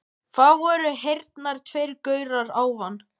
Það voru hérna tveir gaurar áðan.